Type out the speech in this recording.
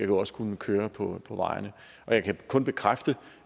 jo også kunne køre på på vejene og jeg kan kun bekræfte